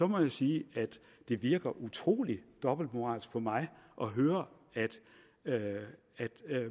må jeg sige at det virker utrolig dobbeltmoralsk på mig at høre at